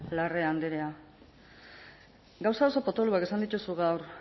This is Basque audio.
larrea andrea gauza oso potoloak esan dituzu gaur